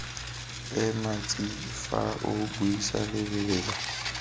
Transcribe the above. ema tsi fa o buisalebelela